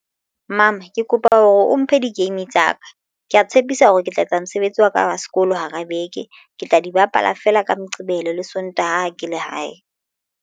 Mama ke kopa hore o mphe di-game tsa ka ke ya tshepisa hore ke tla etsa mosebetsi wa ka wa sekolo hara beke ke tla di bapala feela ka moqebelo le sontaha ke lehae.